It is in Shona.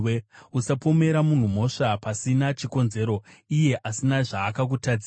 Usapomera munhu mhosva pasina chikonzero, iye asina zvaakutadzira.